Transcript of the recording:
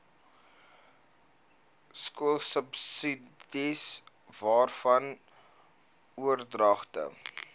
skoolsubsidies waarvan oordragte